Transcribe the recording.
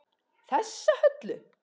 Þessa Höllu!